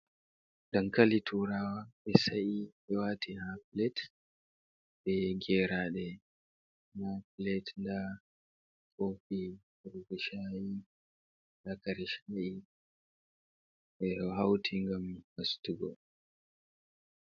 Dankali tuuraawa ɓe sa'i, ɓe waati ha pilet, bee geeraaɗe ha pilet. Ndaa koofi yarugo shaayi ndaa kare shaayi, ɓe ɗo hauti gam hasutugo.